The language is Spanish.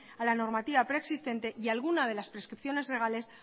a la normativa preexistente y alguna de las preescisiones legales